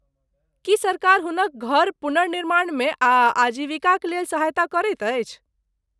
की सरकार हुनक घर पुनर्निर्माणमे आ आजीविकाक लेल सहायता करैत अछि?